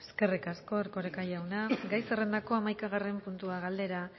eskerrik asko erkoreka jauna gai zerrendako hamaikagarren puntua galdera